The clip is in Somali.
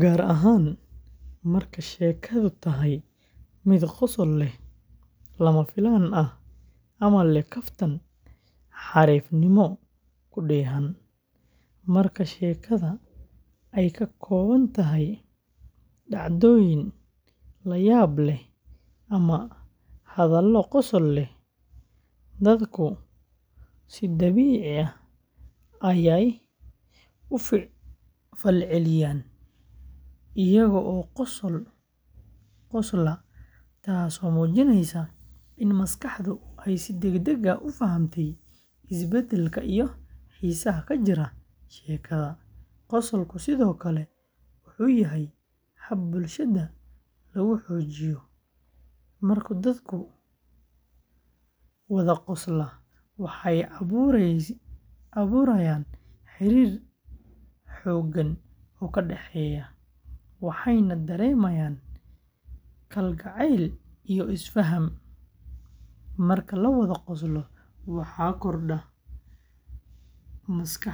gaar ahaan marka sheekadu tahay mid qosol leh, lama filaan ah, ama leh kaftan xariifnimo ku dheehan. Marka sheekada ay ka kooban tahay dhacdooyin layaab leh ama hadallo qosol leh, dadku si dabiici ah ayay u falceliyaan iyagoo qosla, taasoo muujinaysa in maskaxdu ay si degdeg ah u fahamtay isbeddelka iyo xiisaha ka jira sheekada. Qosolku sidoo kale wuxuu yahay hab bulshada lagu xoojiyo; marka dadku wada qoslaan, waxay abuurayaan xiriir togan oo ka dhexeeya, waxayna dareemayaan kalgacayl iyo is-faham. Marka la wada qoslo, waxa kordha endorphins-ka maskaxda.